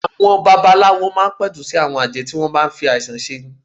Àwọn baba aláwo máa ń pẹ̀tù sí àwọn àjẹ́ tí wọ́n ń bá ń fi àìsàn ṣe ni.